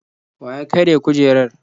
Wa ya karya kujerar?